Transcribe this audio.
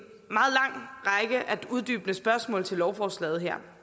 uddybende spørgsmål til lovforslaget her